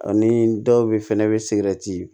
Ani dɔw be fɛnɛ be sigɛrɛti